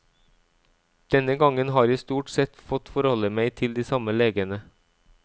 Denne gangen har jeg stort sett fått forholde meg til de samme legene.